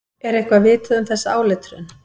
Er eitthvað vitað um þessa áletrun?